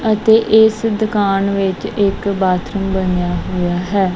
ਅਤੇ ਇਸ ਦੁਕਾਨ ਵਿੱਚ ਇੱਕ ਬਾਥਰੂਮ ਬਣਿਆ ਹੋਇਆ ਹੈ।